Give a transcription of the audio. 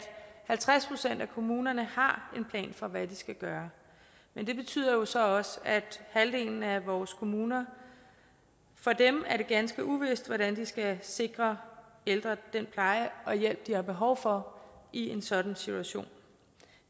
halvtreds procent af kommunerne har en plan for hvad de skal gøre men det betyder så også at det halvdelen af vores kommuner er ganske uvist hvordan de skal sikre ældre den pleje og hjælp de har behov for i en sådan situation